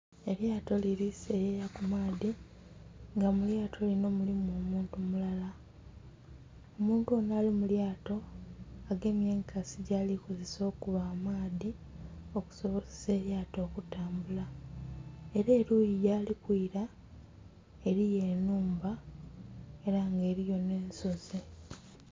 Elyato lili seyeya ku maadhi nga mu lyato linho mulimu omuntu mulala. Omuntu onho ali mu lyato agemye enkasi gyali kozesa okuba amaadhi okusobozesa elyato okutambula. Ela eluuyi yali kwila eliyo enhumba ela nga eliyo nh'ensozi.